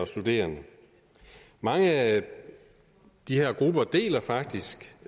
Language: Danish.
studerende mange af de her grupper deles faktisk